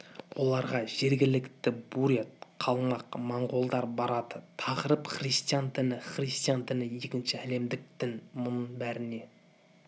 оларға жергілікті бурят қалмақ монғолдар барады тақырып христиан діні христиан діні екінші әлемдік дін мұның бәріне